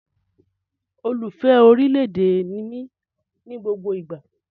Olùfẹ́ orí ilẹ̀ èdè ni mí ní gbogbo ìgbà